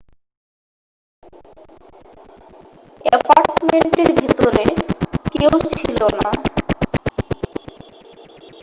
অ্যাপার্টমেন্টের ভেতরে কেউ ছিল না